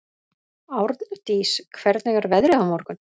Árndís, hvernig er veðrið á morgun?